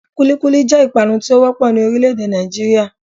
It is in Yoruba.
Kúlíkúlí jẹ́ ìpanu tí ó wọ́pọ̀ ní orílẹ̀ èdè Nàìjíríà